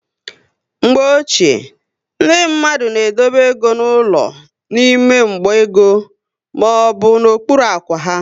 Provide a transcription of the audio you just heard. Mgbe ochie, ndị mmadụ na edobe égo n'ụlọ n'ime mgba ego maọbụ n'okpuru ákwá ha